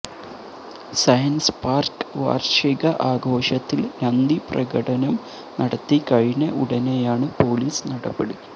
science park വാര്ഷിക ആഘോഷത്തില് നന്ദിപ്രകടനം നടത്തി കഴിഞ്ഞ ഉടനെയാണ് പോലീസ് നടപടി